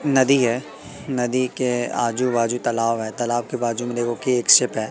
न दी है नदी के आजू बाजू तलाव है तालाब के बाजू में देखो कि एक शिप है।